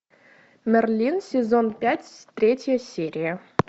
мерлин сезон пять третья серия